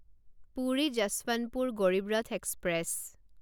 Puri Yesvantpur Garib Rath express